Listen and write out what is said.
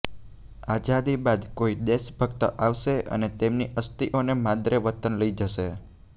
આઝાદી બાદ કોઈ દેશભક્ત આવશે અને તેમની અસ્થિઓને માદરે વતન લઈ જશે